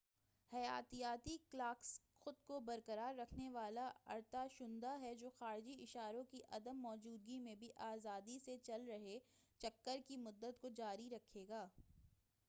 حیاتیاتی کلاکس خود کو برقرار رکھنے والا ارتعاشندہ ہے جو خارجی اشاروں کی عدم موجودگی میں بھی آزادی سے چل رہے چکر کی مدت کو جاری رکھے گا